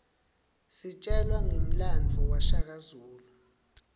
sitjelwa ngemlandvo washaka zulu